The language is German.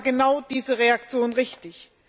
Deswegen war genau diese Reaktion richtig.